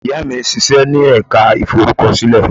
Ìyá mi ń ṣíṣe ní ẹ̀ka ìforúkọsílẹ̀.